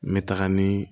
N bɛ taga ni